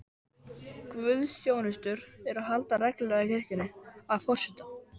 Guðsþjónustur eru haldnar reglulega í kirkjunni, að forseta